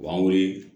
O b'an wele